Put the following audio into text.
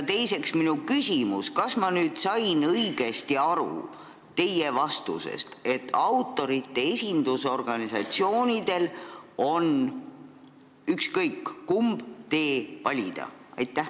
Teiseks, kas ma sain teie vastusest õigesti aru, et autorite esindusorganisatsioonidel on ükskõik kumb tee valida?